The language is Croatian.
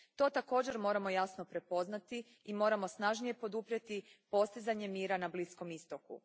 To također moramo jasno prepoznati i moramo snažnije poduprijeti postizanje mira na Bliskom istoku.